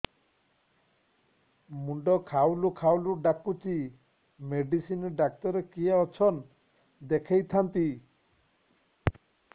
ମୁଣ୍ଡ ଖାଉଲ୍ ଖାଉଲ୍ ଡାକୁଚି ମେଡିସିନ ଡାକ୍ତର କିଏ ଅଛନ୍ ଦେଖେଇ ଥାନ୍ତି